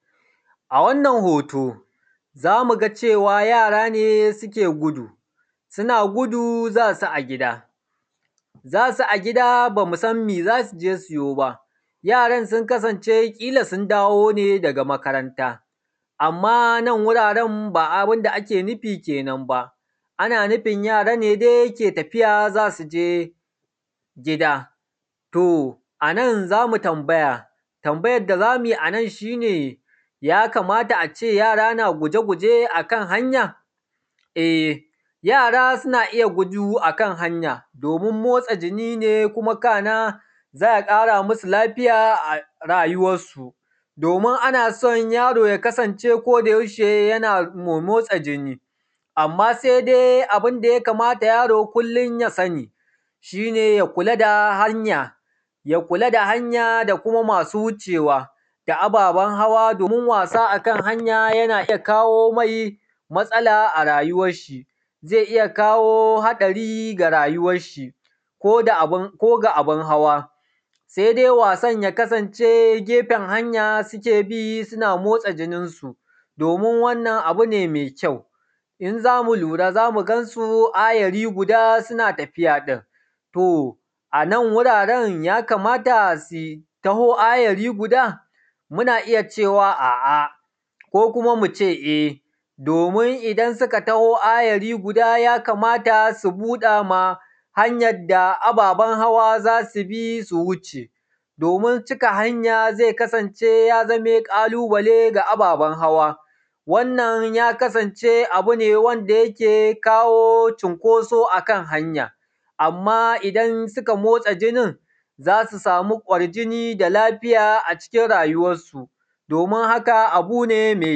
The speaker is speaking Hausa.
A wannan hoto zamuga cewa yara ne suke gudu, suna gudu zasu a gida, zasu a gida bamusan me zasuje su yoba. Yaran sun kasance kila sun dawone daga makaranta amma nan wuraren ba abunda ake nufi kenan ba. ana nufin yara ne dai ke tafiya zasuje gida to anan zamu tambaya, tambayan da zumuyi anan shine yakamata ace yara na guje guje akan hanya eh yara suna iya gudu akan hanya domin motsa jini ne kuma kana za’a ƙara masu lafiya a rayuwar su, domin anaso yaro ya kasance ko da yaushe yana me motsa jini, amma sai dai abunda ya kamata yaro kullum ya sani, shine ya kula da hanya ya kula da hanya da kuma masu wucewa da ababen hawa domin wasa akan hanya yana iyya kawo mai matsala a rayuwar shi. Zai iyya kawo haɗari ga rayuwarshi ko ga abun hawa, sai dai wasan ya kasance gefen hanya suke bi suna motsa jininsu, domin wannan abune mai kyau in zamu lura zamu gansu ayari guda suna tafiya ɗin. To anan wuraren yakamata su taho ayari guda? Muna iyya cewa a’a ko kuma muce eh domin idan suka taho ayari guda yakamata su buɗama hanyadda ababen hawa zasubi su wuce, domin cika hanya zai kasance ya zama ƙalubale ga ababen hawa wannan ya kasance abune wanda yake kawo cunkoso akan hanya amma idan suka motsa jinin zasu samu kwar jini da lafiya a cikin rayuwansu domin haka abune mai.